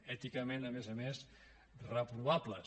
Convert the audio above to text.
èticament a més a més reprovables